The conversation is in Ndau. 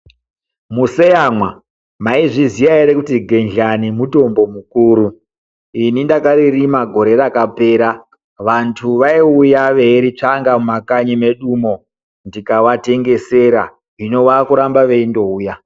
Museyamwa!!mwaizviziya ere kuti gendhlani mutombo mukuru? Ini ndakaririma gore rapera, vanthu vaiuya veiritsvanga mumakanyi medu umo tikavatengesera, hino vakuramba veindouya.